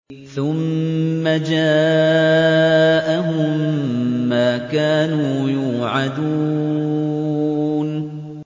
ثُمَّ جَاءَهُم مَّا كَانُوا يُوعَدُونَ